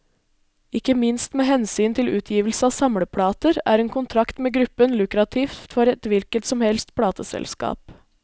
Ikke minst med hensyn til utgivelse av samleplater, er en kontrakt med gruppen lukrativt for et hvilket som helst plateselskap.